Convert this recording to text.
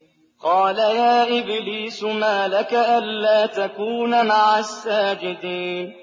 قَالَ يَا إِبْلِيسُ مَا لَكَ أَلَّا تَكُونَ مَعَ السَّاجِدِينَ